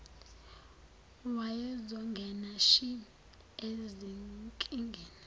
wayezongena shi ezinkingeni